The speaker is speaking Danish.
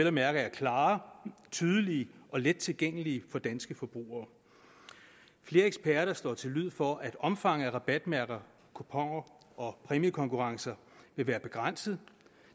at mærke er klare tydelige og let tilgængelige for danske forbrugere flere eksperter slår til lyd for at omfanget af rabatmærker kuponer og præmiekonkurrencer vil være begrænset